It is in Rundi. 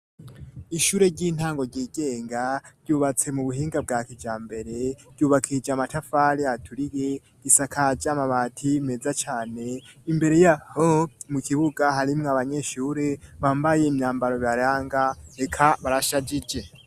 Akazu ka si wumwe kubatse mu buhinga bwa kija mbere kwubakije amatafare aturihe impome zisize amaranga y'umuhondo amadishayo afise ibiyo vyiza cane reka ntuborawa isize isima ryiza cane.